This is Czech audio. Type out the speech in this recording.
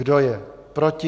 Kdo je proti?